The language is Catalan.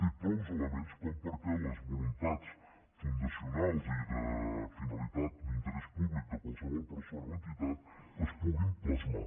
té prou elements com perquè les voluntats fundacionals i de finalitat d’interès públic de qualse·vol persona o entitat es puguin plasmar